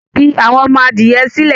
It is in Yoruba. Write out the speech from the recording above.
fI àwọn ọmọ-adìyẹ sílẹ̀!